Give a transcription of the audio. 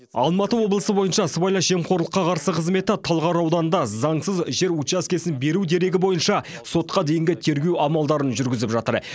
алматы облысы бойынша сыбайлас жемқорлыққа қарсы қызметі талғар ауданында заңсыз жер учаскесін беру дерегі бойынша сотқа дейінгі тергеу амалдарын жүргізіп жатыр